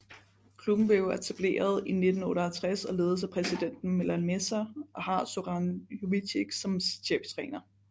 Klubben blev etableret i 1958 og ledes af præsidenten Milan Meža og har Zoran Jovičić som cheftræner